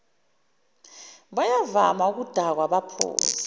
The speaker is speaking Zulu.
bayavama ukudakwa baphuza